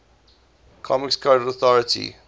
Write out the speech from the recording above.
comics code authority